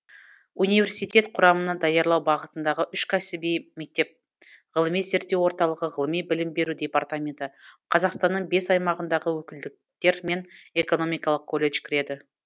университет құрамына даярлау бағытындағы үш кәсіби мектеп ғылыми зерттеу орталығы ғылыми білім беру департаменті қазақстанның бес аймағындағы өкілдіктер мен экономикалық колледж кіреді